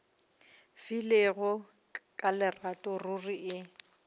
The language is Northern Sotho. filego ka lerato ruri e